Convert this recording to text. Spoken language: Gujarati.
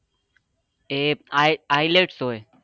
એ ilts હોય